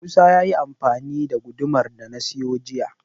Musa ya ce yayi amfani da gudumar da na siyo jiya.